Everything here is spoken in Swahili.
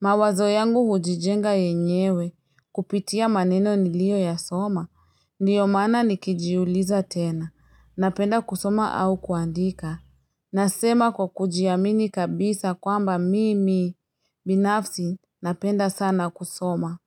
Mawazo yangu hujijenga yenyewe kupitia maneno nilioyasoma. Ndiyo maana nikijiuliza tena. Napenda kusoma au kuandika. Nasema kwa kujiamini kabisa kwamba mimi binafsi napenda sana kusoma.